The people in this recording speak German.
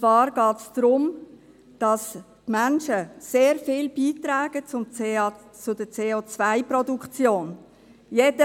Es geht darum, dass die Menschen sehr viel zur CO-Produktion beitragen.